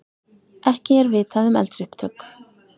Ekki er vitað um eldsupptök